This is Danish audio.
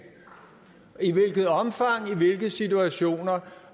i hvilket omfang i hvilke situationer